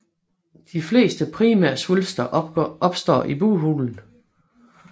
De fleste primærsvulster opstår i bughulen